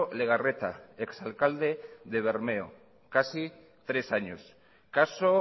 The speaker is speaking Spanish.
legarreta ex alcalde de bermeo casi tres años caso